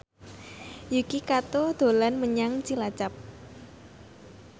Yuki Kato dolan menyang Cilacap